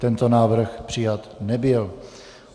Tento návrh přijat nebyl.